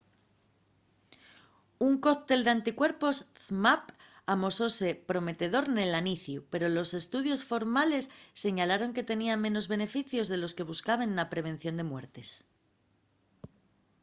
un cóctel d’anticuerpos zmapp amosóse prometedor nel aniciu pero los estudios formales señalaron que tenía menos beneficios de los que se buscaben na prevención de muertes